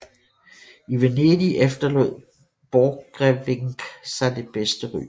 I Venedig efterlod Borchgrevinck sig det bedste ry